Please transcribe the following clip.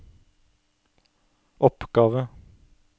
oppgave